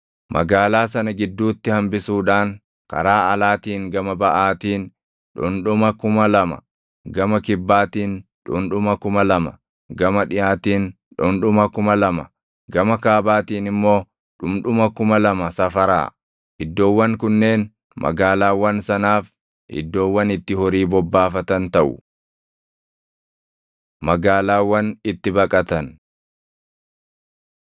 Magaalaa sana gidduutti hambisuudhaan karaa alaatiin gama baʼaatiin dhundhuma kuma lama, gama kibbaatiin dhundhuma kuma lama, gama dhiʼaatiin dhundhuma kuma lama, gama kaabaatiin immoo dhundhuma kuma lama safaraa. Iddoowwan kunneen magaalaawwan sanaaf iddoowwan itti horii bobbaafatan taʼu. Magaalaawwan Itti Baqatan 35:6‑34 kwi – KeD 4:41‑43; 19:1‑14; Iya 20:1‑9